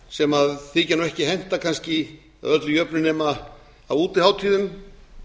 sem þykja ekki henta kannski að öllu jöfnu nema á útihátíðum